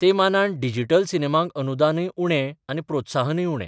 ते मानान डिजिटल सिनेमांक अनुदानय उणें आनी प्रोत्साहनय उणें.